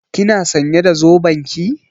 Kina sãnye da zoben ki?